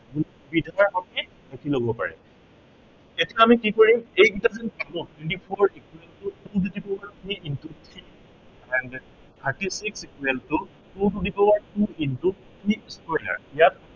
তিনিটা শব্দই লিখি লব পাৰে। এতিয়া আমি কি কৰিম এই কেইটা যে পালো, twenty four equal to two the power two into three and thirty six equal two to the power to into three square ইয়াত